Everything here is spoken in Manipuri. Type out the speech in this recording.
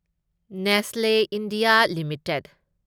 Nestlé India limited